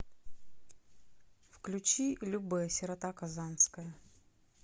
включи любэ сирота казанская